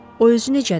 O özü necədir?